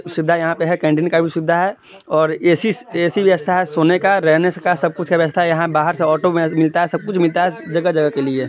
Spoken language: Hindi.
--सुविधा यहाँ पे है और कैन्टीन की भी सुविधा है और ऐसी-ऐसी व्यवस्था है सोने का रहने का सबकुछ का व्यवस्था यहाँ बाहर से ऑटो म-मिलता है सबकुछ मिलता जगह जगह के लिए--